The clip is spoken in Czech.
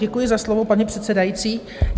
Děkuji za slovo, paní předsedající.